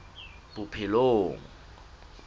bophelong